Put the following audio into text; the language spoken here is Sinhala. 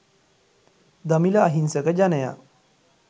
දමිල අහිංසක ජනයා